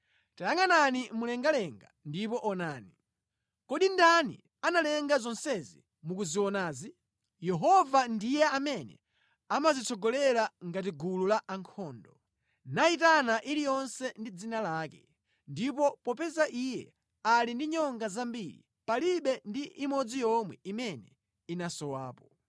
Tayangʼanani mlengalenga ndipo onani. Kodi ndani analenga zonsezi mukuzionazi? Yehova ndiye amene amazitsogolera ngati gulu la ankhondo, nayitana iliyonse ndi dzina lake. Ndipo popeza Iye ali ndi nyonga zambiri, palibe ndi imodzi yomwe imene inasowapo.